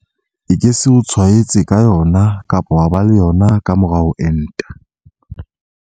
E ke se o tshwaetse ka yona kapa wa ba le yona ka mora ho enta.